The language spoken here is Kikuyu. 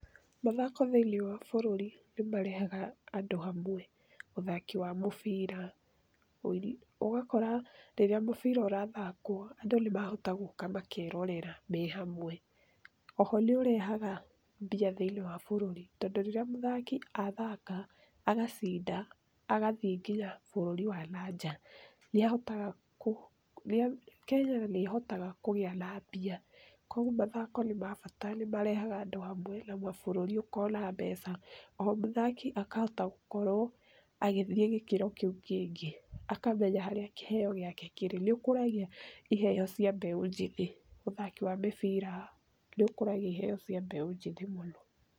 Mathako thĩini wa bũrũri nĩ marehaga andũ hamwe. Ũthaki wa mũbira, ũgakora rĩrĩa mũbira ũrathakwo, andũ nĩ mahotaga gũka makerorera me hamwe. Oho nĩ ũrehaga mbia thĩini wa bũrũri tondũ rĩrĩa mũthaki athaka agacinda, agathiĩ nginya bũrũri wa nanja nĩ ahotaga Kenya nĩ ĩhotaga kũgĩa na mbia. Koguo mathako nĩ ma bata nĩ marehaga andũ hamwe na bũrũri ũkona mbeca, oho mũthaki akahota gũkorwo agĩthiĩ gĩkĩro kĩu kĩngĩ akamenya harĩa kĩheo gĩake kĩrĩ. Nĩ ũkũragia iheo cia mbeũ njĩthĩ. Ũthaki wa mĩbira nĩ ũkũragia iheo cia mbeũ njĩthĩ mũno.